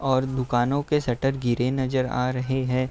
और दुकानों के शटर गिरे नजर आ रहे हैं।